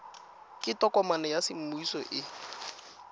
ke tokomane ya semmuso e